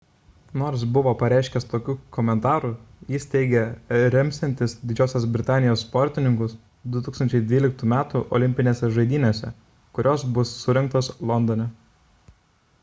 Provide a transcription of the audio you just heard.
nors buvo pareiškęs tokių komentarų jis teigė remsiantis didžiosios britanijos sportininkus 2012 m olimpinėse žaidynėse kurios bus surengtos londone